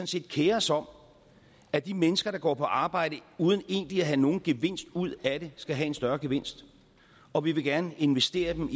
set kerer os om at de mennesker der går på arbejde uden egentlig at have nogen gevinst ud af det skal have en større gevinst og vi vil gerne investere de